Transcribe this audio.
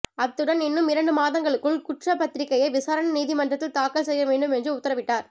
அத்துடன் இன்னும் இரண்டு மாதங்களுக்குள் குற்றப்பத்திரிகையை விசாரணை நீதிமன்றத்தில் தாக்கல் செய்ய வேண்டும் என்று உத்தரவிட்டார்